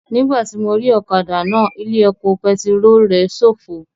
Nígbàtí mo rí ọ̀kadà náà, ilé epo pẹtirólù rẹ̀ ṣófo